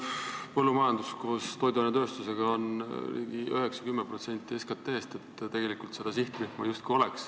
Põllumajandus koos toiduainetööstusega annab ligi 9–10% SKT-st, nii et tegelikult seda sihtrühma justkui on.